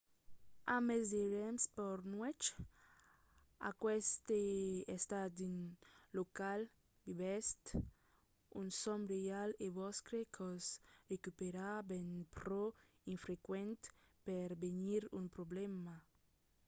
amb mens de rems per nuèch aqueste estat dins lo qual vivètz un sòm real e vòstre còrs recupèra ven pro infrequent per venir un problèma